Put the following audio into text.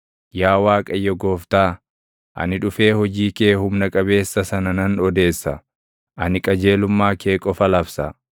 Yaa Waaqayyo Gooftaa, ani dhufee hojii kee humna qabeessa sana nan odeessa; ani qajeelummaa kee qofa labsa.